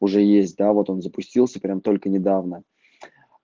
уже есть да вот он запустился прям только недавно